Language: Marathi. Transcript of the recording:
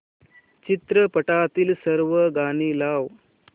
चित्रपटातील सर्व गाणी लाव